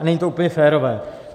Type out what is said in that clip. A není to úplně férové.